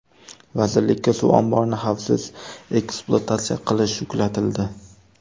Vazirlikka suv omborini xavfsiz ekspluatatsiya qilish yuklatildi.